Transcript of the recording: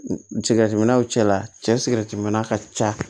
Sigɛrɛtiminnaw cɛla cɛ sirisi minna ka ca